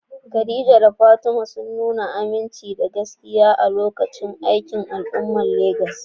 Khadija da Fatima sun nuna aminci da gaskiya a lokacin aikin al'umma a Legas.